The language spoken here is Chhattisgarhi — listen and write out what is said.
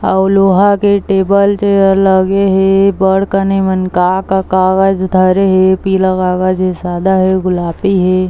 अऊ लोहा के टेबल चेयर लगे हे बड़ कन ए मन का-का कागज धरे हे पिला वागज सादा हे गुलाबी हे।